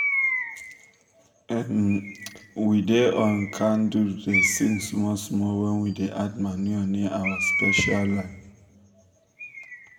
um we da um on um candle da sing small small wen we da add manure near our special land